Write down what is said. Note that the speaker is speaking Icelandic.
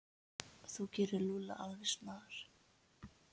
Þú gerir Lúlla alveg snar